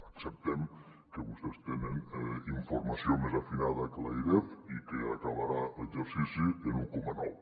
acceptem que vostès tenen informació més afinada que l’airef i que acabarà l’exercici en un coma nou